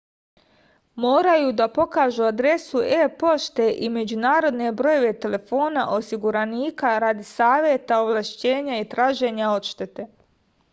морају да покажу адресу е-поште и међународне бројеве телефона осигураника ради савета/овлашћења и тражења одштете